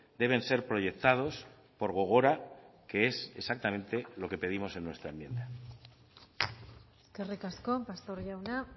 deben ser proyectados por gogora que es exactamente lo que pedimos en nuestra enmienda eskerrik asko pastor jauna